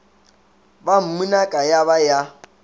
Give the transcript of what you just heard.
ba mmunaka ya ba ya